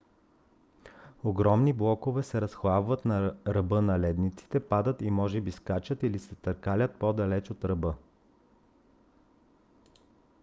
огромни блокове се разхлабват на ръба на ледниците падат и може би скачат или се търкалят по - далеч от ръба